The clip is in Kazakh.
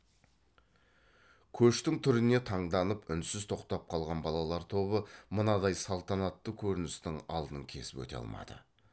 көштің түріне таңданып үнсіз тоқтап қалған балалар тобы мынадай салтанатты көріністің алдын кесіп өте алмады